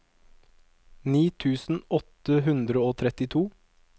ni tusen åtte hundre og trettito